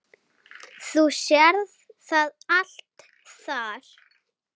Þú sérð það allt þar.